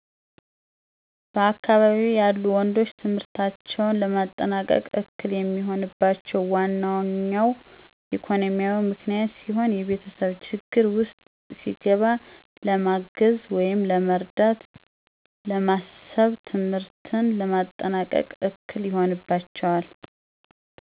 በአካባቢየ ያሉ ወንዶች ትምህርታቸውን ለማጠናቀቅ እክል የሚሆንባቸው ዋነኞው ኢኮኖሚያዊ ምክንያት ሲሆን የቤተሰብ ችግር ውስጥ ሲገባ ለማገዝ ወይም ለመርዳት በማሰብ ትምህርትን ለማጠናቀቅ እክል ይሆንባቸዋል።